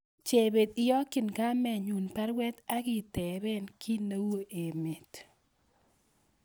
Chebet iyokyin kamenyun baruet agi tepee ki ne u emet